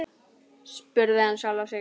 spurði hann sjálfan sig.